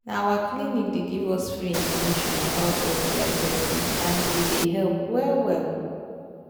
na our clinic they give us free information about sti testing and he they help well well